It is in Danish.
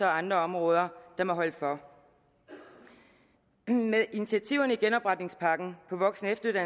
andre områder der må holde for med initiativerne i genopretningspakken på voksen